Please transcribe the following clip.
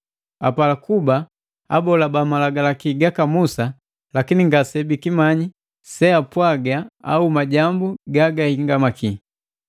Apala kuba abola ba malagalaki gaka Musa, lakini ngasebikimanyi seapwaga au majambu gagahingamaki.